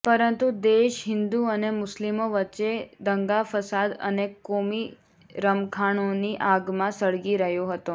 પરંતુ દેશ હિન્દુ અને મુસ્લિમો વચ્ચે દંગા ફસાદ અને કોમી રમખાણોની આગમાં સળગી રહ્યો હતો